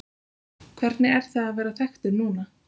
Hvernig er það að vera þekktur núna?